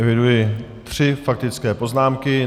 Eviduji tři faktické poznámky.